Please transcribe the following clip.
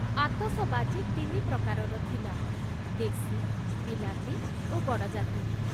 ଆତସବାଜି ତିନି ପ୍ରକାରର ଥିଲା, ଦେଶୀ, ବିଲାତୀ ଓ ଗଡ଼ଜାତୀ।